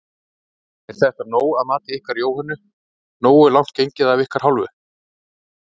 Er þetta nóg að mati ykkar Jóhönnu, nógu langt gengið af ykkar hálfu?